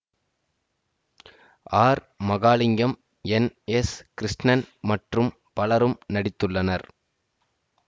R Mahalingam N S Krishnan மற்றும் பலரும் நடித்துள்ளனர்